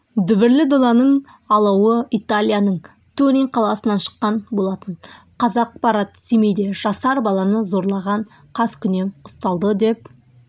дүбірлі доданың алауы италияның турин қаласынан шыққан болатын қазақпарат семейде жасар баланы зорлаған қаскүнем ұсталды деп